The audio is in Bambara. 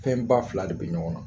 Fɛn ba fila de bɛ ɲɔgɔn na